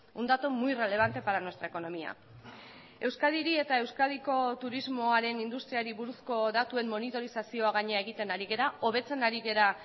un dato muy relevante para nuestra economía euskadiri eta euskadiko turismoaren industriari buruzko datuen monitorizazioa gainera egiten ari gara hobetzen ari gara